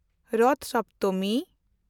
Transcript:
ᱨᱚᱛᱷ ᱥᱚᱯᱛᱚᱢᱤ